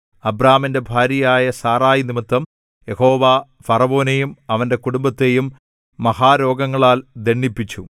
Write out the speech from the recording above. അബ്രാമിന്റെ ഭാര്യയായ സാറായി നിമിത്തം യഹോവ ഫറവോനെയും അവന്റെ കുടുംബത്തെയും മഹാരോഗങ്ങളാൽ ദണ്ഡിപ്പിച്ചു